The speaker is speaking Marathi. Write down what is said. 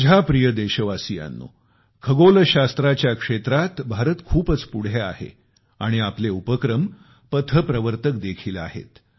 माझ्या प्रिय देशवासियांनो खगोलशास्त्राच्या क्षेत्रात भारत खूपच पुढे आहे आणि आपले उपक्रम पथप्रवर्तक देखील आहेत